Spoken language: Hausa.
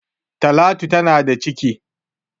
Talatu tana da ciki